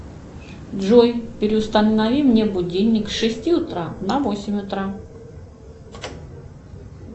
джой переустанови мне будильник с шести утра на восемь утра